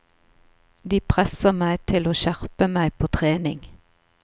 De presser meg til å skjerpe meg på trening.